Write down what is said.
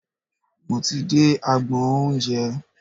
Mo ti dé agbọn oúnjẹ.